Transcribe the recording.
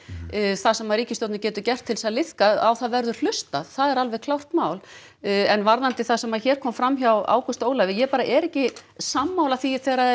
það sem ríkisstjórnin getur gert til að liðka á það verður hlustað það er alveg klárt mál en varðandi það sem að hér kom fram hjá Ágústi Ólafi ég bara er ekki sammála því þegar